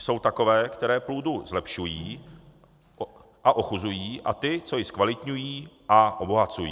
Jsou takové, které půdu zlepšují a ochuzují (?), a ty, co ji zkvalitňují a obohacují.